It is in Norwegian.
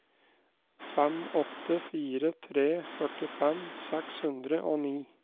fem åtte fire tre førtifem seks hundre og ni